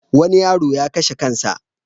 Wani yaro ya kashe kan sa.